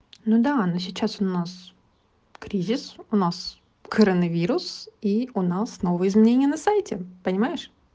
ну да она сейчас у нас кризис у нас коронавирус и у нас новые изменения на сайте понимаешь